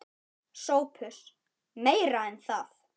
SOPHUS: Meira en það.